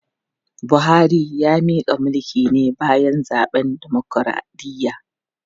Buhari ya mika mulki ne bayan zaben dimokradiyya.